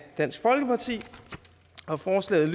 dansk folkeparti og forslaget